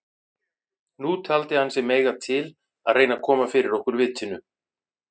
Nú taldi hann sig mega til að reyna að koma fyrir okkur vitinu.